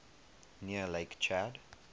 near lake chad